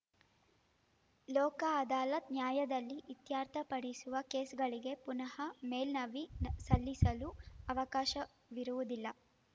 ಲೋಕ ಅದಾಲತ್‌ ನ್ಯಾಯಾಲದಲ್ಲಿ ಇತ್ಯರ್ಥಪಡಿಸುವ ಕೇಸ್‌ಗಳಿಗೆ ಪುನಃ ಮೇಲ್ ನವಿ ನ ಸಲ್ಲಿಸಲು ಅವಕಾಶರುವುದಿಲ್ಲ